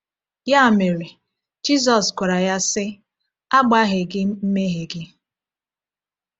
Ya mere, Jizọs gwara ya sị: “A gbaghị gị mmehie gị.”